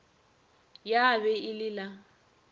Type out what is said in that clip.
ya be e le la